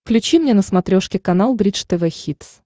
включи мне на смотрешке канал бридж тв хитс